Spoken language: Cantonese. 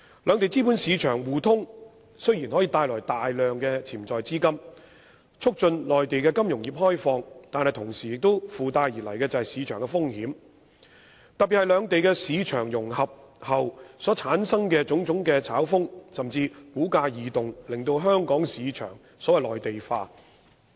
兩地資本市場互通雖然可帶來大量潛在資金，促進內地金融業開放，但同時附帶而來的是市場風險，特別是兩地市場融合後所產生的種種炒風，甚至是股價異動，令香港市場內地化。